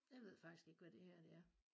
Jeg ved faktisk ikke hvad det her det er